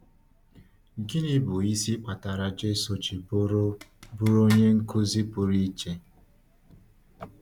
Gịnị bụ isi kpatara Jésù ji bụrụ bụrụ onye nkuzi pụrụ iche?